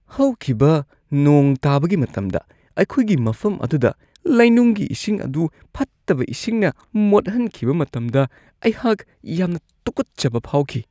ꯍꯧꯈꯤꯕ ꯅꯣꯡ ꯇꯥꯕꯒꯤ ꯃꯇꯝꯗ ꯑꯩꯈꯣꯏꯒꯤ ꯃꯐꯝ ꯑꯗꯨꯗ ꯂꯩꯅꯨꯡꯒꯤ ꯏꯁꯤꯡ ꯑꯗꯨ ꯐꯠꯇꯕ ꯏꯁꯤꯡꯅ ꯃꯣꯠꯍꯟꯈꯤꯕ ꯃꯇꯝꯗ ꯑꯩꯍꯥꯛ ꯌꯥꯝꯅ ꯇꯨꯛꯀꯠꯆꯕ ꯐꯥꯎꯈꯤ꯫